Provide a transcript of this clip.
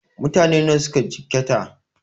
Mutane nawa suka jikkata?